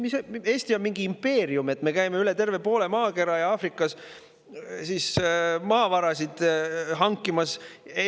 Kas Eesti on mingi impeerium, et me käime üle terve poole maakera ja Aafrikas maavarasid hankimas?